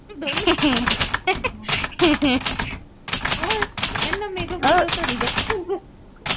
ਉਹ ਇਹਨਾਂ makeup ਕਰਦੀਆਂ ਧੜੀ ਦਾ